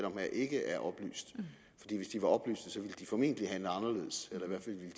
om her ikke er oplyste fordi hvis de var oplyste ville de formentlig handle anderledes eller